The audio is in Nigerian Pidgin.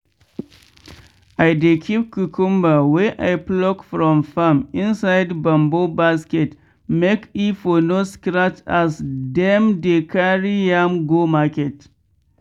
i dey keep cucumber wey i pluck from farm inside bamboo basket make e for no scratch as dem dey carry am go market.